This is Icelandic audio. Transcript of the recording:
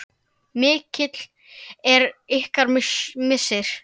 Mikill er ykkar missir.